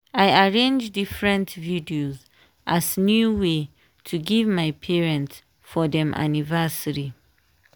i arrange different videos as new way to give my parents for dem anniversary.